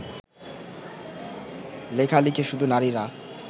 লেখা লিখে শুধু নারী না